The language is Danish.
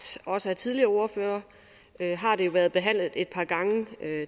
af også tidligere ordførere har det jo været behandlet et par gange